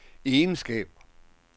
egenskaber